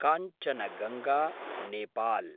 Kanchenjunga Nepal